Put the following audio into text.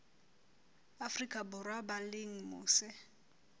afrika borwa ba leng mose